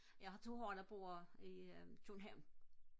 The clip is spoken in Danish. jeg har to her der bor i København